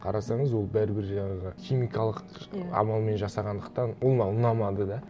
қарасаңыз ол бәрібір жаңағы химикалық амалмен жасағандықтан ол маған ұнамады да